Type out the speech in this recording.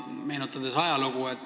Meenutame ajalugu.